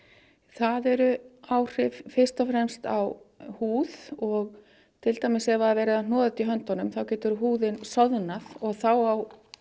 það eru áhrif fyrst og fremst á húð og til dæmis ef það er verið að hnoða þetta í höndunum þá getur húðin og þá á